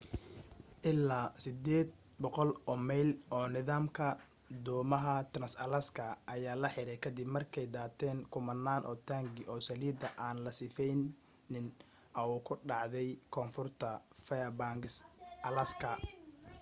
ilaa 800 oo mayl oo nidaamka dhuumaha trans-alaska ayaa la xiray ka dib markay daateen kumanaan oo taangi oo saliida aan la sifeynin au ka dhacday koonfurta fairbanks alaska